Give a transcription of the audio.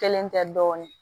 Kelen tɛ dɔɔnin